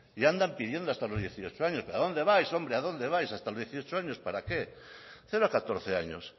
y andan pidiendo hasta los dieciocho años pero a dónde vais hombre a dónde vais hasta los dieciocho años para qué cero a catorce años